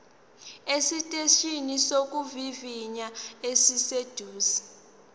esiteshini sokuvivinya esiseduze